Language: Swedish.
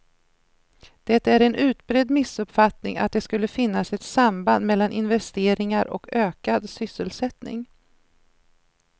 Det är en utbredd missuppfattning att det skulle finnas ett samband mellan investeringar och ökad sysselsättning.